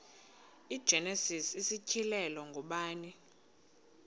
igenesis isityhilelo ngubani